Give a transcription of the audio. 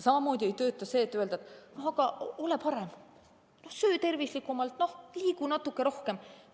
Samamoodi ei tööta see, kui öelda, aga ole parem, söö tervislikumalt, liigu natuke rohkem.